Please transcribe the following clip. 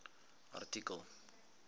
artikel